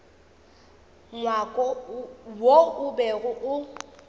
ngwako wo o bego o